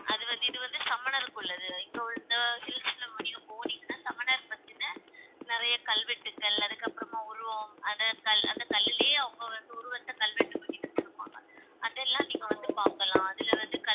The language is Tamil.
அது வந்து இது வந்து சமணருக்கு உள்ளது இங்க வந்து hills ல நீங்க போனீங்கன்னா சமணர் பத்தின நிறைய கல்வெட்டுகள் அதுக்கப்புறமா உருவம் அந்த கல்லுலேயே அவங்க வந்து உருவத்தை கல்வெட்டு பண்ணி வச்சிருப்பாங்க அதெல்லாம் நீங்க வந்து பார்க்கலாம் அதுல வந்து